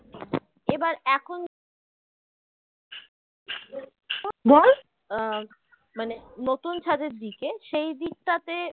আহ মানে নতুন ছাদে দিকে সেই দিকটাতে